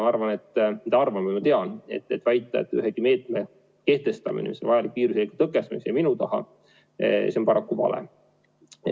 Ma mitte arvan, vaid tean, et väita, et mõne meetme kehtestamine, mis on olnud vajalik viiruse leviku tõkestamiseks, jäi minu taha – see on paraku vale.